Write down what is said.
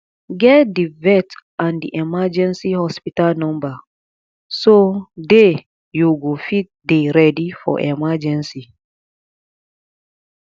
get di vet and di emergency hospital number so day you go fit dey ready for emergency